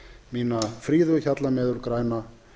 mína fríðu hjalla meður græna